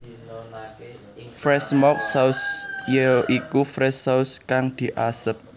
Fresh Smoke Sausage ya iku Fresh Sausage kang diasep